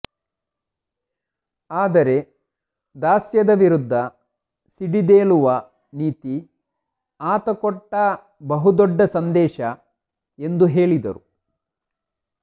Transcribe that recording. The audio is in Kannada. ಆದರೆ ದಾಸ್ಯದ ವಿರುದ್ಧ ಸಿಡಿದೇಳುವ ನೀತಿ ಆತ ಕೊಟ್ಟ ಬಹುದೊಡ್ಡ ಸಂದೇಶ ಎಂದು ಹೇಳಿದರು